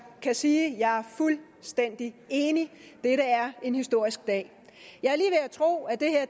kan sige at jeg er fuldstændig enig dette er en historisk dag jeg